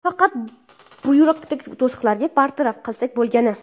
Faqat byurokratik to‘siqlarni bartaraf qilsak bo‘lgani.